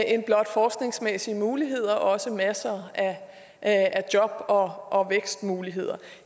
end blot forskningsmæssige muligheder også masser af job og vækstmuligheder